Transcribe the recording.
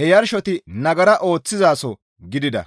he yarshosohoti nagara ooththizaso gidida.